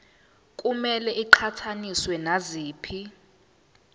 kumele iqhathaniswe naziphi